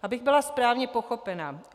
Abych byla správně pochopena.